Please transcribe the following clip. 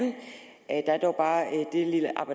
at